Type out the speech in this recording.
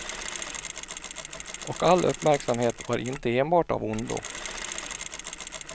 Och all uppmärksamhet var inte enbart av ondo.